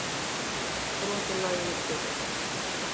Brot úr laginu spilað